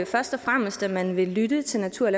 først og fremmest at man vil lytte til natur og